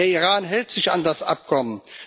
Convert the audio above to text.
Der Iran hält sich an das Abkommen.